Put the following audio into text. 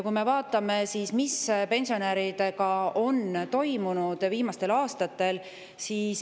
Vaatame, mis pensionidega on viimastel aastatel toimunud.